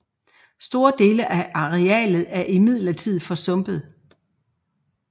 Store dele af arealet er imidlertid forsumpet